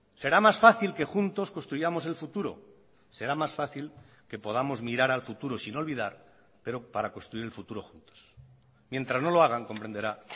será más fácil que juntos construyamos el futuro será más fácil que podamos mirar al futuro sin olvidar pero para construir el futuro juntos mientras no lo hagan comprenderá